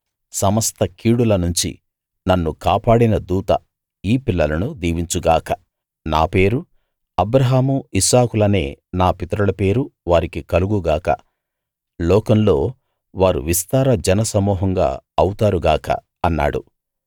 సమస్త కీడుల నుంచి నన్ను కాపాడిన దూత ఈ పిల్లలను దీవించు గాక నా పేరు అబ్రాహాము ఇస్సాకులనే నా పితరుల పేరు వారికి కలుగు గాక లోకంలో వారు విస్తార జనసమూహంగా అవుతారు గాక అన్నాడు